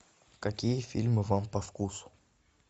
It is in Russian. какие фильмы вам по вкусу